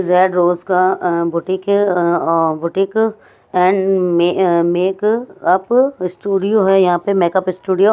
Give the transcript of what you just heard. Red का अह boutique है अह ओ बुटीक एंड मे अह मेक अप स्टूडियो है यहां पे मेकअप स्टूडियो ।